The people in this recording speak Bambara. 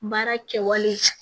Baara kɛwale